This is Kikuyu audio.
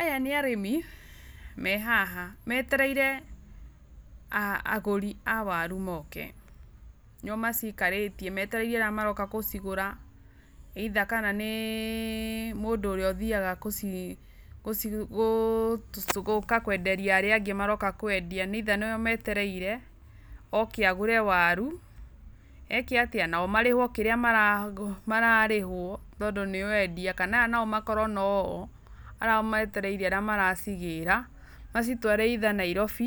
Aya nĩ arĩmi mehaha metereire agũri a waru moke nĩo macikarĩtie metereire arĩa maroka gũcigũra either kana nĩ mũndũ ũrĩa ũthiyaga gũka kwenderia arĩa angĩ maroka kwendia, neither nĩo metereire ũke agũre waru nao marĩhwo kĩrĩa mararĩhwo tondũ nĩo endia kana aya nao makorwo noũ arĩa metereire arĩa maracigĩra macitware either Nairobĩ